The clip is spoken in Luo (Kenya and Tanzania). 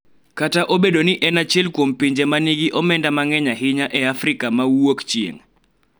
Kata obedo ni en achiel kuom pinje ma nigi omenda mang�eny ahinya e Afrika ma Wuokchieng�.